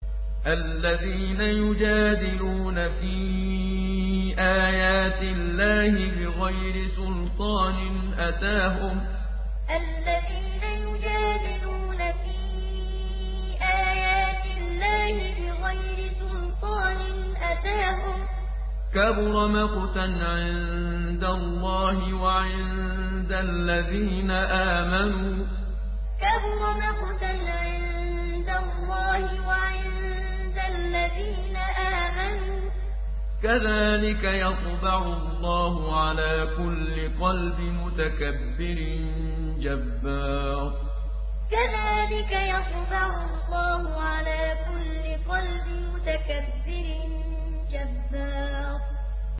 الَّذِينَ يُجَادِلُونَ فِي آيَاتِ اللَّهِ بِغَيْرِ سُلْطَانٍ أَتَاهُمْ ۖ كَبُرَ مَقْتًا عِندَ اللَّهِ وَعِندَ الَّذِينَ آمَنُوا ۚ كَذَٰلِكَ يَطْبَعُ اللَّهُ عَلَىٰ كُلِّ قَلْبِ مُتَكَبِّرٍ جَبَّارٍ الَّذِينَ يُجَادِلُونَ فِي آيَاتِ اللَّهِ بِغَيْرِ سُلْطَانٍ أَتَاهُمْ ۖ كَبُرَ مَقْتًا عِندَ اللَّهِ وَعِندَ الَّذِينَ آمَنُوا ۚ كَذَٰلِكَ يَطْبَعُ اللَّهُ عَلَىٰ كُلِّ قَلْبِ مُتَكَبِّرٍ جَبَّارٍ